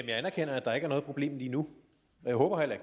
jeg anerkender at der ikke noget problem lige nu og jeg håber heller